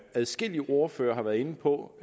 adskillige ordførere har været inde på